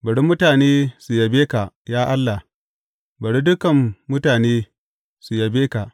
Bari mutane su yabe ka, ya Allah; bari dukan mutane su yabe ka.